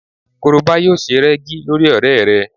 Korobá yóò se rẹ́gí lórí ọ̀rẹ́ rẹ